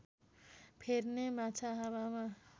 फेर्ने माछा हावामा